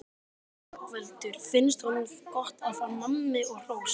Ingveldur: Finnst honum gott að fá nammi og hrós?